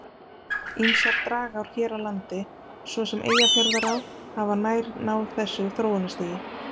Ýmsar dragár hér á landi, svo sem Eyjafjarðará, hafa nær náð þessu þróunarstigi.